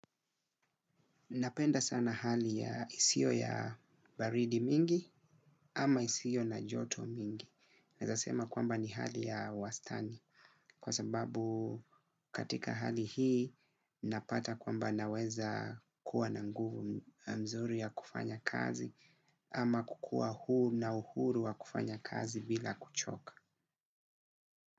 Napenda sana hali ya isio ya baridi mingi ama isio na joto mingi. Naweza sema kwamba ni hali ya wastani kwa sababu katika hali hii napata kwamba naweza kuwa na nguvu nzuri ya kufanya kazi ama kukua huu na uhuru wa kufanya kazi bila kuchoka.